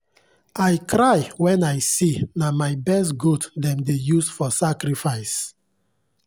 i cry when i see na my best goat dem dey use for sacrifice.